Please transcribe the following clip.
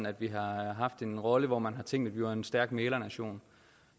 at vi har haft en rolle hvor man har tænkt at vi var en stærk mæglernation